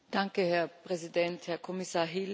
Herr Präsident, Herr Kommissar Hill!